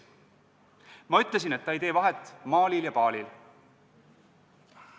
Ma ütlesin, et ta ei tee vahet Malil ja Balil.